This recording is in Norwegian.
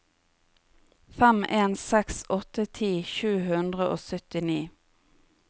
fem en seks åtte ti sju hundre og syttini